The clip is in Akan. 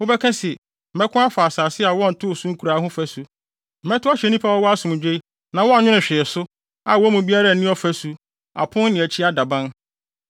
Wobɛka se, “Mɛko afa asase a wɔntoo so nkuraa ho fasu, mɛtow ahyɛ nnipa a wɔwɔ asomdwoe na wɔnnwene hwee so, a wɔn mu biara nni ɔfasu, apon ne akyi adaban.